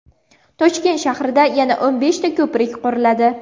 Toshkent shahrida yana o‘n beshta ko‘prik quriladi.